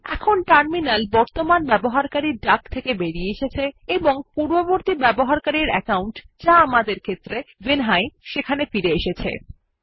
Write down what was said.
এখন টার্মিনাল বর্তমান ইউজার ডাক থেকে বেরিয়ে এসেছে এবং পূর্ববর্তী ইউজার অ্যাকাউন্ট যা আমাদের ক্ষেত্রে ভিনহাই সেখানে ফিরে এসেছে